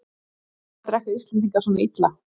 Hvers vegna drekka Íslendingar svona illa?